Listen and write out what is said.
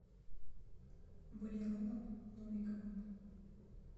валероном новиковым